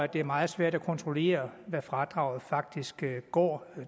det er meget svært at kontrollere hvad fradraget faktisk går